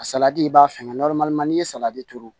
salati i b'a fɛngɛ n'i ye salati turu